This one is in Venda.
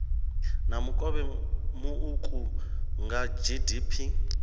na mukovhe muuku kha gdp